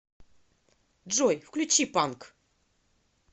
джой включи панк